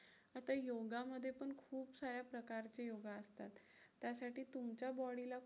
आता योगामध्ये पण खुप सारे प्रकारचे योगा असतात. त्यासाठी तुमच्या body ला